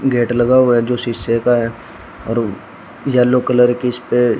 gate लगा हुआ है जो शीशे का है और येलो कलर की इसपे --